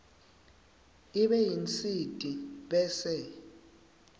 ibe yinsiti bese